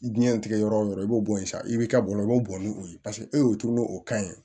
Diɲɛ tigɛ yɔrɔ o yɔrɔ i b'o bɔ yen sa i bɛ ka bɔ i b'o bɔ ni o ye paseke e y'o turu n'o kan ye